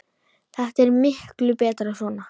Þetta er miklu betra svona.